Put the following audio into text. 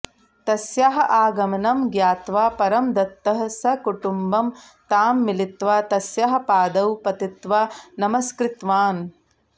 तस्याः आगमनं ज्ञात्वा परमदत्तः सकुटुम्बं तां मिलित्वा तस्याः पादौ पतित्वा नमस्कृतवान्